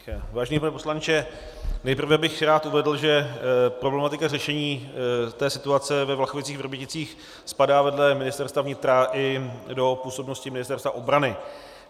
Vážený pane poslanče, nejprve bych rád uvedl, že problematika řešení té situace ve Vlachovicích-Vrběticích spadá vedle Ministerstva vnitra i do působnosti Ministerstva obrany.